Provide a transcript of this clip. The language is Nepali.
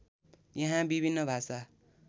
यहाँ विभिन्न भाषा